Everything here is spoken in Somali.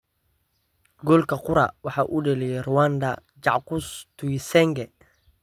Goolka qura waxaa u dhaliyay Rwandan Jacques Tuyisenge.